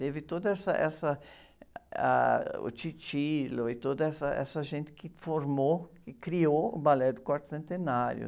Teve toda essa, essa, ah, o e toda essa, essa gente que formou e criou o Balé do Quarto Centenário.